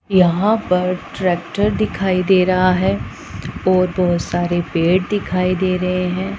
यहां पर ट्रैक्टर दिखाई दे रहा हैं और बहोत सारे पेड़ दिखाई दे रहें हैं।